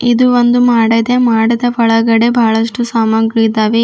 ಇದು ಒಂದು ಮಾಡದೆ ಮಾಡದ ಒಳಗಡೆ ಬಹಳಷ್ಟು ಸಾಮಗ್ರಿ ಇದ್ದಾವೆ.